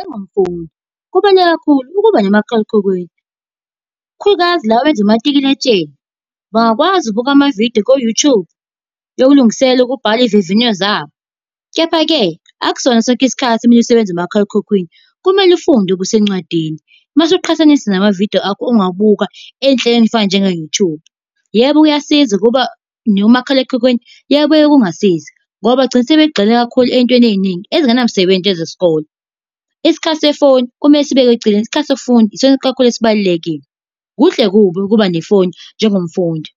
Engamfundi, kubaluleke kakhulu ukuba nomakhalekhukhwini, ikakhulukazi laba abenza umatikuletsheni bangakwazi ukubuka amavidiyo ko-YouTube yokulungisela ukubhala izivivinyo zabo. Kepha-ke akusona sonke isikhathi omunye usebenze umakhalekhukhwini. Kumele ufunde okusencwadini. Uma usuqhathanisa namavidiyo akho ongawabuka ey'nhlelweni ey'fana njengo-YouTube. Yebo kuyasiza ukuba nomakhalekhukhwini, kuyabuya kungasizi. Ngoba bagcina sebegxile kakhulu ey'ntweni ey'ningi ezinganamsebenzi njengezesikole. Isikhathi sefoni kumele sibekwe eceleni, isikhathi sokufunda isona kakhulu esibalulekile. Kuhle kubi ukuba nefoni njengomfundi,